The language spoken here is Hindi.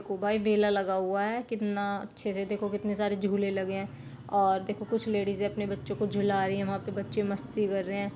को भाई बेला लगा हुआ है कितना अच्छे से देखो कितने सारे झूले लगे हैं और देखो कुछ लेडीजे अपने बच्चो को झुला रही है वहां पे बच्चे मस्ती कर रहे हैं।